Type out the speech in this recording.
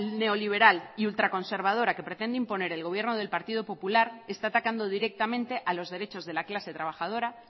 neoliberal y ultraconservadora que pretende imponer el gobierno del partido popular está atacando directamente a los derechos de la clase trabajadora